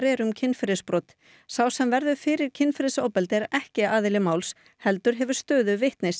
er um kynferðisbrot sá sem verður fyrir kynferðisofbeldi er ekki aðili máls heldur hefur stöðu vitnis